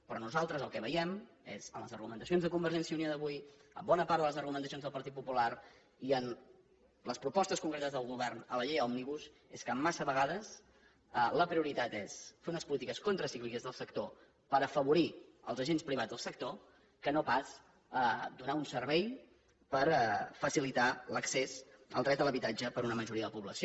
però nosaltres el que veiem és en les argumentacions de convergència i unió d’avui en bona part de les argumenta cions del partit popular i en les propostes concretes del govern en la llei òmnibus que massa vegades la prio ritat és fer unes polítiques contracícliques del sector per afavorir els agents privats del sector i no pas donar un servei per facilitar l’accés al dret a l’habitatge per a una majoria de la població